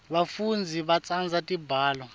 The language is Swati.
bafundzi batsandza tibalo